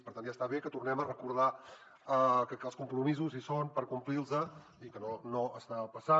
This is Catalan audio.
per tant ja està bé que tornem a recordar que els compromisos hi són per complir los i que no està passant